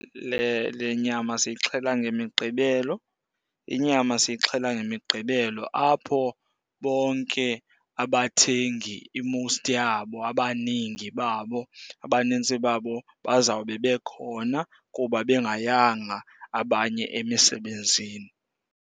Le nyama siyixhela ngeMiqgibelo. Inyama siyixhela ngeMiqgibelo apho bonke abathengi i-most yabo, abaningi babo, abanintsi babo bazawube bekhona kuba bengayanga abanye emisebenzini.